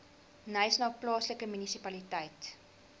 knysna plaaslike munisipaliteit